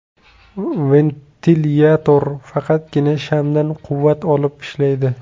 Ventilyator faqatgina shamdan quvvat olib ishlaydi.